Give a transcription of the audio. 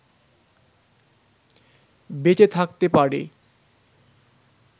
বেঁচে থাকতে পারে